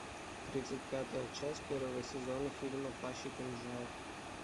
тридцать пятая часть первого сезона фильма плащ и кинжал